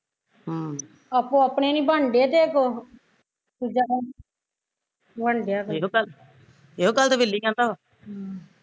ਅਮ ਆਪੋ ਆਪਣੇ ਨੀ ਬਣਨ ਡਏ ਤੇ ਦੂਜਾ ਕਿਹਦਾ ਬਣਨ ਡਿਆ ਕੋਈ